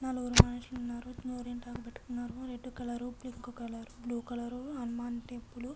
నలుగురు మనషులు ఉనరు. గోరింటాకు and red colour pink colour వేసుకున్నారు. హనుమాన్ టెంపుల్ --